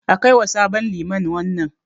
A kaiwa sabon liman wannan.